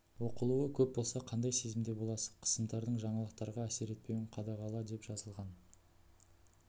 оқылуы көп болса қандай сезімде боласыз қысымдардың жаңалықтарға әсер етпеуін қадағаладеп жазылған